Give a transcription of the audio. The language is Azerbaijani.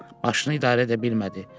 Maşını idarə edə bilmədi.